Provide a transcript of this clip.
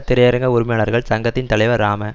திரையரங்கு உரிமையாளர்கள் சங்கத்தின் தலைவர் ராம